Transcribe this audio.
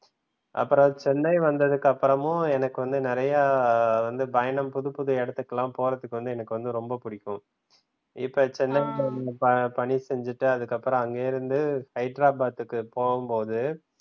அப்புறம் சென்னை வந்ததுக்கு அப்புறமும் எனக்கு வந்து நிறைய வந்து பயணம் புதுப்புது இடத்துக்குலாம் போறதுக்கு வந்து எனக்கு ரொம்ப பிடிக்கும இப்ப சென்னைல பணி செஞ்சிட்டு அதுக்கு அப்புறம் அங்கேருந்து ஹைதராபாத்துக்கு போகும்போது,